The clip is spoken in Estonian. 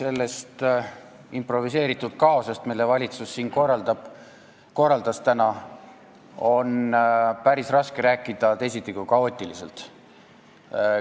Sellest improviseeritud kaosest, mille valitsus siin täna korraldas, on päris raske rääkida teisiti kui kaootiliselt.